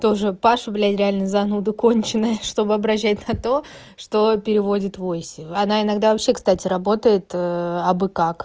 тоже пашу блять реально зануду конченная чтобы обращать на то что переводит войси она иногда вообще кстати работает абы как